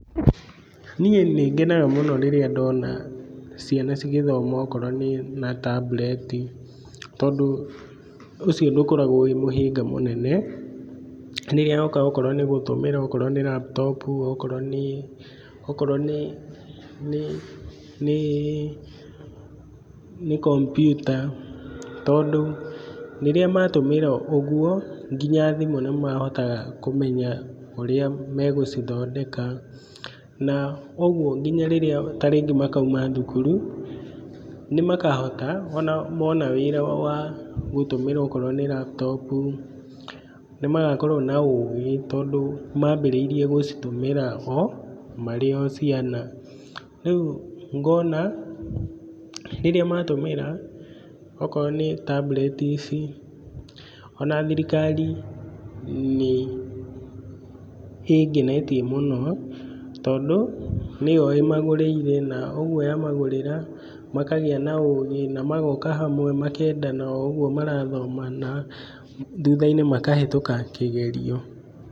Niĩ nĩngenaga mũno rĩrĩa ndona, ciana cigĩthoma okorwo nĩ na tambureti, tondũ, ũcio ndũkoragwo wĩ mũhĩnga mũnene. Rĩrĩa oka okorwo nĩ gũtũmĩra okorwo nĩ laptop okorwo nĩ, okorwo nĩ, nĩ, nĩ nĩ kompiuta, tondũ rĩrĩa matũmĩra ũguo nginya thimũ nĩmahotaga kũmenya ũrĩa megũcithondeka, na ũguo nginya rĩrĩa ta rĩngĩ makauma thukuru, nĩmakahota onao mona wĩra wa gũtũmĩra okorwo nĩ laptop u, nĩmagakorwo na ũgĩ, tondũ mambĩrĩirie gũcitũmĩra o marĩ o ciana. Rĩu ngona rĩrĩa matũmĩra okorwo nĩ tambureti ici, ona thirikari nĩ, ĩngenetie mũno tondũ nĩyo ĩmagũrĩire na ũguo yamagũrĩra, makagĩa na ũgĩ na magoka hamwe makendana o ũguo marathoma na, thutha-inĩ makahĩtũka kĩgerio.